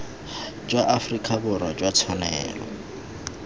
jwa aforika borwa jwa tshwanelo